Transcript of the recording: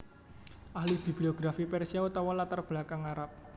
Ahli bibliografi Persia utawa latar belakang Arab